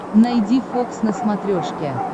найди фокс на смотрешке